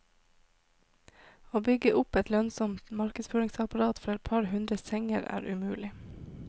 Å bygge opp et lønnsomt markedsføringsapparat for et par hundre senger er umulig.